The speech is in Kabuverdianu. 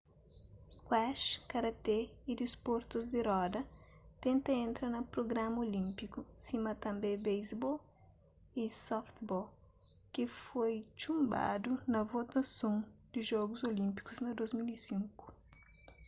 squash karaté y disportus di roda tenta entra na prugrama olínpiku sima tanbê basebol y softball ki foi txunbadu na votason di jogus olínpiku na 2005